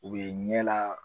U bɛ ɲɛ la